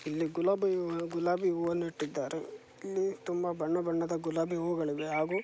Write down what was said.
ಇಲ್ಲಿ ಗುಲಾಬಿ ಹೂವ ಗುಲಾಬಿ ಹೂವನ್ನು ಇಟ್ಟಿದ್ದಾರೆ ಇಲ್ಲಿ ತುಂಬ ಬಣ್ಣ ಬಣ್ಣದ ಗುಲಾಬಿ ಹೂಗಳಿವೆ ಹಾಗೂ--